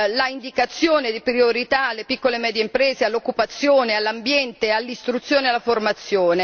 l'indicazione di priorità alle piccole e medie imprese, all'occupazione, all'ambiente, all'istruzione e alla formazione